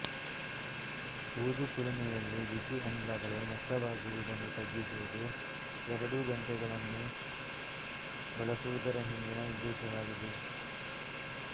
ಊದುಕುಲುಮೆಯಲ್ಲಿ ಬಿಸಿ ಅನಿಲಗಳು ನಷ್ಟವಾಗುವುದನ್ನು ತಗ್ಗಿಸುವುದು ಎರಡು ಗಂಟೆಗಳನ್ನು ಬಳಸುವುದರ ಹಿಂದಿನ ಉದ್ದೇಶವಾಗಿದೆ